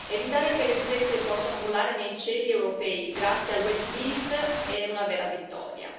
Evitare che le stesse possano volare nei cieli europei grazie al wet lease è una vera vittoria.